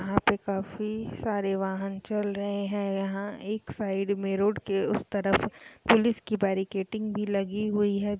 यहाँ पे काफी सारे वाहन चल रहे हैं यहां एक साइड में रोड के उस तरफ पुलिस की बैरिकेटिंग भी लगी हुई है।